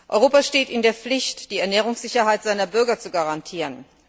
Europa steht in der Pflicht, die Ernährungssicherheit seiner Bürger zu garantieren.